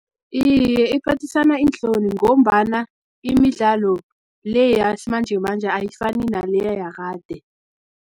Iye, ephathisa iinhloni, ngombana imidlalo le, yasimanjemanje ayifani naleya yakade.